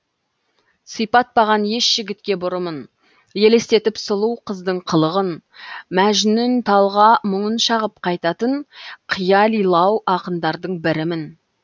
сипатпаған еш жігітке бұрымын елестетіп сұлу қыздың қылығын мәжнүн талға мұңын шағып қайтатын қиялилау ақындардың бірімін